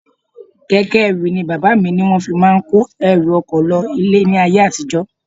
Keke ẹrù ni bàbá mi ní wọ́n fi máa ń kó ẹrù oko lọ ilé ní ayé àtijó.